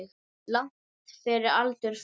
Langt fyrir aldur fram.